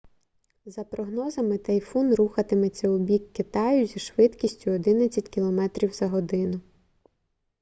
за прогнозами тайфун рухатиметься у бік китаю зі швидкістю 11 км/год